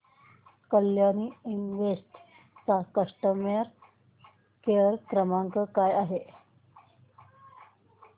Kalyani invest चा customer care क्रमांक काय आहे